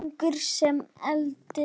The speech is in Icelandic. Ungir sem aldnir.